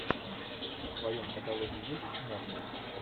в твоем каталоге есть мост